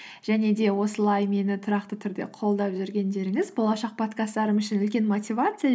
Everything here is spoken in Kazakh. және де осылай мені тұрақты түрде қолдап жүргендеріңіз болашақ подкасттарым үшін үлкен мотивация